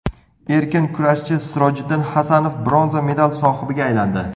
Erkin kurashchi Sirojiddin Hasanov bronza medal sohibiga aylandi.